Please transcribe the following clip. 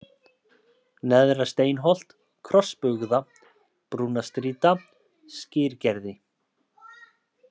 Neðra-Steinholt, Krossbugða, Brúnastrýta, Skyrgerði